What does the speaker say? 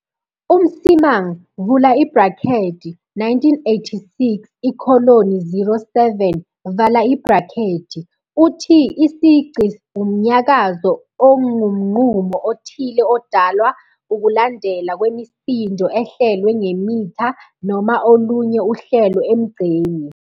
UMsimang, 1986-07, uthi isigqi wumnyakazo ongumgqumo othile odalwa ukulandelana kwemisindo ehlelwe ngemitha noma olunye uhlelo emgqeni.